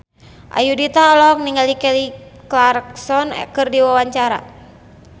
Ayudhita olohok ningali Kelly Clarkson keur diwawancara